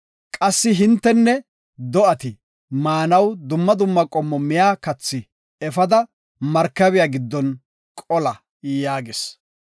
Qassi hintenne do7ati maanaw dumma dumma qommo miya kathi efada, markabiya giddon qola” yaagis.